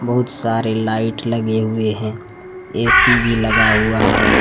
बहुत सारे लाइड लगे हुए हैं ऐ_सी भी लगा हुआ है।